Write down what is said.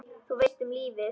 Þú veist, um lífið?